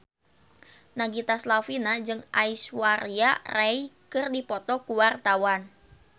Nagita Slavina jeung Aishwarya Rai keur dipoto ku wartawan